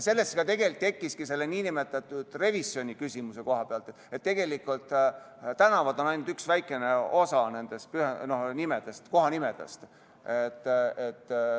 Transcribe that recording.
Sellest tegelikult tekkiski see küsimus nn revisjoni koha pealt, et tänavanimed on ainult üks väike osa kohanimedest.